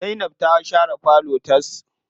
Zainab ta share falon tas.